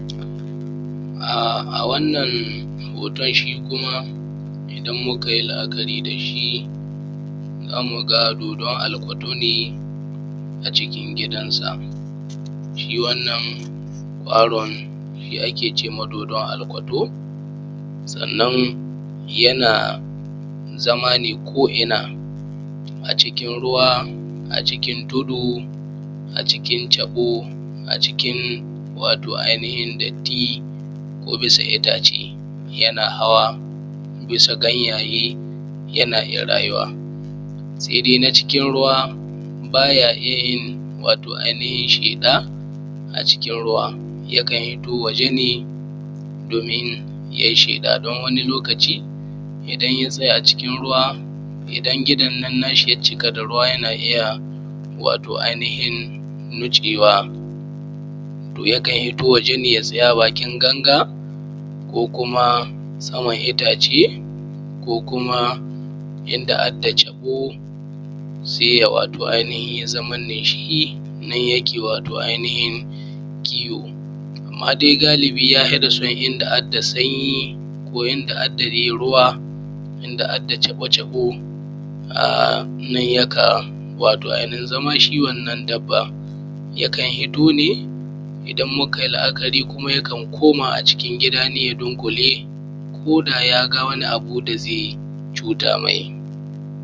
um wannan hoton shi kuma idan mukayi la’akari dashi zamu ga dodon alcodo ne a cikin gidan sa. Shi wannan kwaron shi ake cewa dodon alcodo sannan yana zama ne zama ne ko inna a cikin ruwa, a cikin tudu, a cikin taɓo a cikin wato ai nihin datti ko bisa ittace yana hawa yana hawa bisa ganyaye yana iyya rayuwa. Sai dai na cikin ruwa baya iyyayin ai nihin sheƙa a cikin ruwa yakan fito waje ne domin yayi sheƙa don wani lokaci idan ya tsaya cikin ruwa dan idonnan nashi inya cika da ruwa yana iyya ai nihin nutsewa to yakan hito waje ne ya tsaya bakin ganga ko saman ittace ko kuma in adda ciko saiya wato ai nihin zamashi nan yake wato ai nihin kiwo. Amma dai galibi in da at caɓo caɓo nan yake wato ai nihin zaman shi yakan hito ne idan Mukai la’akari kuma yakan koma a cikin ne dunkule koda yaga wani abu dazai cuta mai.